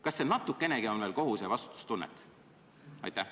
Kas teil natukenegi on veel kohuse- ja vastutustunnet?